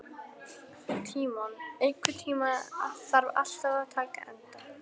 Tímon, einhvern tímann þarf allt að taka enda.